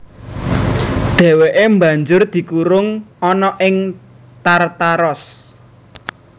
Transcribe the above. Dhèwèké banjur dikurung ana ing Tartaros